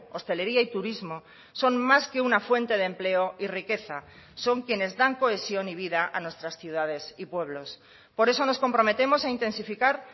hostelería y turismo son más que una fuente de empleo y riqueza son quienes dan cohesión y vida a nuestras ciudades y pueblos por eso nos comprometemos a intensificar